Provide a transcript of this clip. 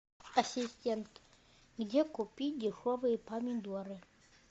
ассистент где купить дешевые помидоры